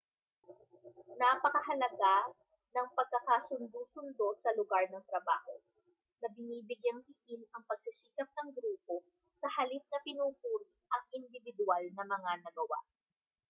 napakahalaga ng pagkakasundo-sundo sa lugar ng trabaho na binibigyang-diin ang pagsisikap ng grupo sa halip na pinupuri ang indibidwal na mga nagawa